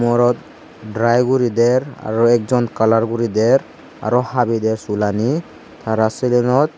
morot dry gurider aro ekkjon kalar guri der aro habi der sulani tara serenot.